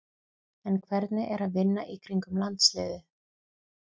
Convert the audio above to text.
En hvernig er að vinna í kringum landsliðið?